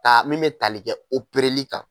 A min bɛ tali kɛ opereli kan.